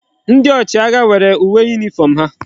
Ndi ochi agha nwere uwe uniform ha